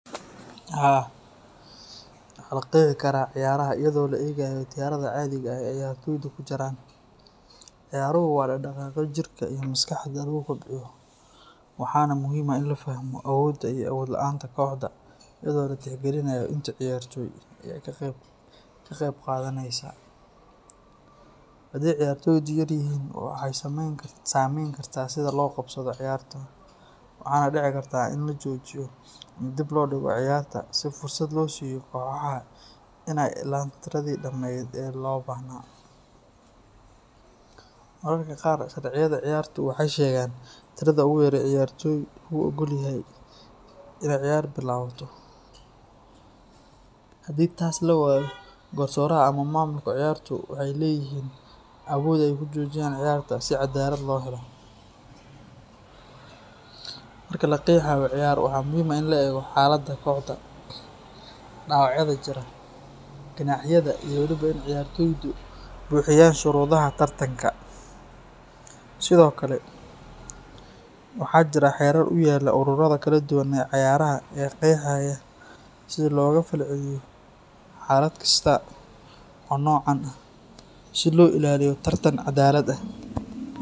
Haa, waxaa la qexi karaa ciyaraha iyadoo la eegayo tirada cadiga ah ee ciyartoydu ku jiraan. Ciyaruhu waa dhaqdhaqaaqyo jirka iyo maskaxda lagu kobciyo, waxaana muhiim ah in la fahmo awoodda iyo awood la’aanta kooxda iyadoo la tixgelinayo inta ciyartoy ah ee ka qaybqaadanaysa. Haddii ciyartoydu yaryihiin, waxay saamayn kartaa sida loo qabsado ciyarta, waxaana dhici karta in la joojiyo ama dib loo dhigo ciyarta si fursad loo siiyo kooxaha in ay helaan tiradii dhammayd ee loo baahnaa. Mararka qaar, sharciyada ciyartu waxay sheegaan tirada ugu yar ee ciyartoy lagu oggol yahay in ciyar bilaabato, haddii taas la waayo, garsooraha ama maamulka ciyartu waxay leeyihiin awood ay ku joojiyaan ciyarta si cadaalad loo helo. Marka la qexayo ciyar, waxaa muhiim ah in la eego xaaladda kooxda, dhaawacyada jira, ganaaxyada iyo waliba in ciyartoydu buuxinayaan shuruudaha tartanka. Sidoo kale, waxaa jira xeerar u yaalla ururada kala duwan ee cayaaraha oo qeexaya sida looga falceliyo xaalad kasta oo noocan ah si loo ilaaliyo tartan cadaalad ah.